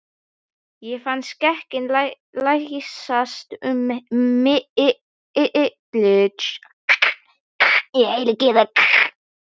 Ég fann skrekkinn læsast um mig.